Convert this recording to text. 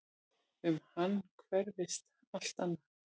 Um hann hverfist allt annað.